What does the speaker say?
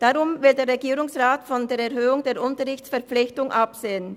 Darum will der Regierungsrat von der Erhöhung der Unterrichtsverpflichtung absehen.